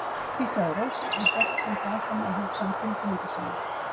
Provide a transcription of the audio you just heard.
hvíslaði Rósa en hélt samt áfram að hugsa um tilfinningar sínar.